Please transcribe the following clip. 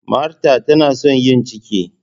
Martha tana son yin ciki.